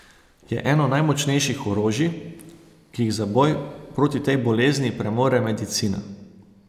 Je eno najmočnejših orožij, ki jih za boj proti tej bolezni premore medicina.